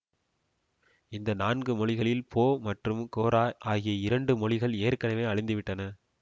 இந்த நான்கு மொழிகளில் போ மற்றும் கோரா ஆகிய இரண்டு மொழிகள் ஏற்கனவே அழிந்துவிட்டன